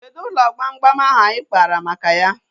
Kedụ ụlọ gbamgbam ahu anyị kpaara maka ya?